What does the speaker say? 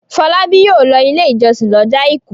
Fọlábí yóò lọ Ilé-ìjọsìn lọ́jọ́ àìkú.